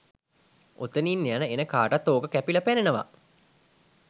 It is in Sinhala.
ඔතනින් යන එන කාටත් ඕක කැපිලා පෙනෙනවා.